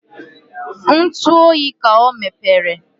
Ntụ ọyị ka ọ mepere